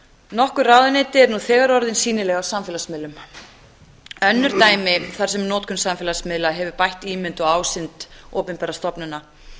nokkur ráðuneyti eru nú þegar orðin sýnileg á samfélagsmiðlum önnur dæmi þar sem notkun samfélagsmiðla hefur bætt ímynd og ásýnd opinberra stofnana